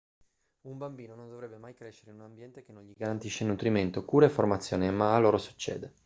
un bambino non dovrebbe mai crescere in un ambiente che non gli garantisce nutrimento cura e formazione ma a loro succede